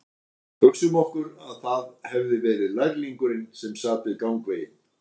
Hugsum okkur að það hefði verið lærlingurinn sem sat við gangveginn